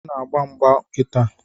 Ọ na-agba mgba kịta.